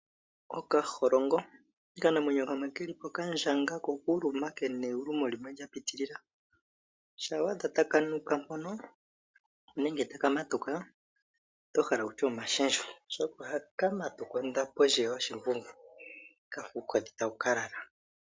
Okaholongo okanamwenyo kamwe ke lipo ka ndjanga ko okuluma ke na ewulumo limwe lya pitilila uuna wa adha taka nuka mpono nenge taka matuka oto hala kutya omashendjo oshoka oha ka matuka ondapo ndji yoshimbungu kafa uukodhi tawu ka lala.